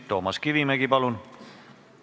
Toomas Kivimägi, palun!